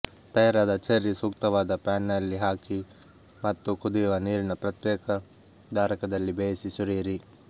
ತಯಾರಾದ ಚೆರ್ರಿ ಸೂಕ್ತವಾದ ಪ್ಯಾನ್ನಲ್ಲಿ ಹಾಕಿ ಮತ್ತು ಕುದಿಯುವ ನೀರಿನ ಪ್ರತ್ಯೇಕ ಧಾರಕದಲ್ಲಿ ಬೇಯಿಸಿ ಸುರಿಯಿರಿ